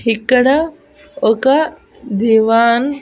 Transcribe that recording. ఇక్కడ ఒక దివాన్.